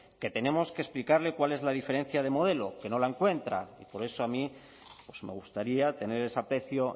que tenemos que explicarle cuál es la diferencia de modelo que no la encuentra por eso a mí pues me gustaría tener ese aprecio